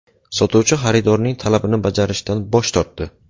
Sotuvchi xaridorning talabini bajarishdan bosh tortdi.